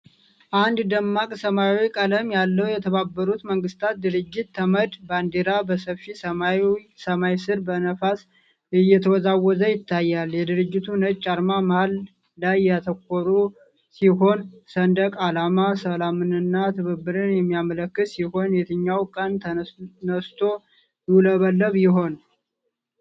አንድ ደማቅ ሰማያዊ ቀለም ያለው የተባበሩት መንግስታት ድርጅት (ተመድ) ባንዲራ በሰፊ ሰማያዊ ሰማይ ስር በነፋስ እየተወዛወዘ ይታያል። የድርጅቱ ነጭ አርማ መሃል ላይ ያተኮረ ሲሆን፣። ሰንደቅ አላማው ሰላምንና ትብብርን የሚያመለክት ሲሆን፣ የትኛው ቀን ተነስቶ ይውለበለብ ይሆን?